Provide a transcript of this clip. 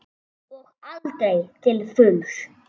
Og aldrei til fulls.